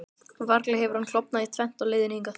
Varla hefur hann klofnað í tvennt á leiðinni hingað?